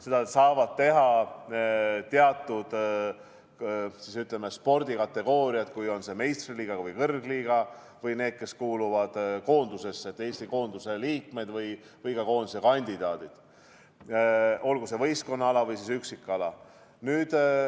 Seda saavad teha teatud, ütleme, spordikategooriad, kui see see meistriliiga või kõrgliiga, või ka need, kes kuuluvad koondisesse, st Eesti koondise liikmed või koondise kandidaadid, olgu see võistkonnaala või üksikala.